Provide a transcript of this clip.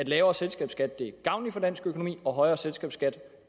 lavere selskabsskat er gavnlig for dansk økonomi og højere selskabsskat